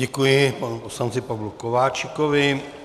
Děkuji panu poslanci Pavlu Kováčikovi.